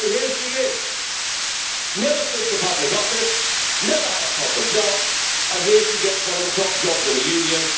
So here she is never stood for public office, never had a proper job, and here she gets one of the top jobs in the Union.